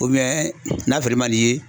n'a sɔrɔ i man nin ye